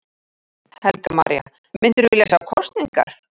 Helga María: Myndirðu vilja sjá kosningar?